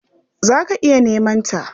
Za ka iya neman ta.